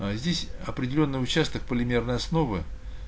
аа здесь определённый участок полимерной основы